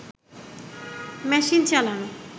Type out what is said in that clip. machine চালানো